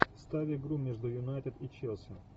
ставь игру между юнайтед и челси